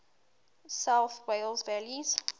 south wales valleys